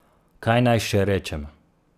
Kaj naj še rečem?